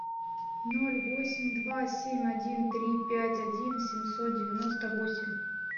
ноль восемь два семь один три пять один семьсот девяносто восемь